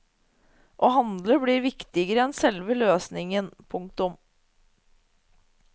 Å handle blir viktigere enn selve løsningen. punktum